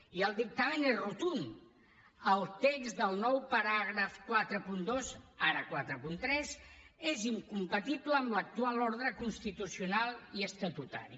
i el dictamen és rotund al text del nou paràgraf quaranta dos ara quaranta tres és incompatible amb l’actual ordre constitucional i estatutari